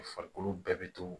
U farikolo bɛɛ bɛ to